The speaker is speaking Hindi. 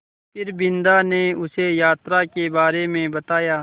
फिर बिन्दा ने उसे यात्रा के बारे में बताया